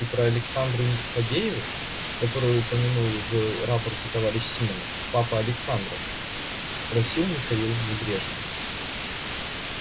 ты про александру фадееву которую упомянул в рапорте товарищ симонов папа александра спросил михаил небрежно